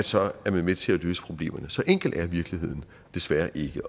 så er man med til at løse problemerne så enkel er virkeligheden desværre ikke